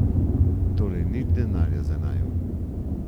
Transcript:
Torej nič denarja za naju.